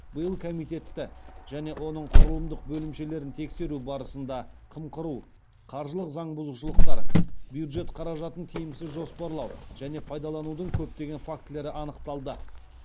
биыл комитетті және оның құрылымдық бөлімшелерін тексеру барысында қымқыру қаржылық заң бұзушылықтар бюджет қаражатын тиімсіз жоспарлау және пайдаланудың көптеген фактілері анықталды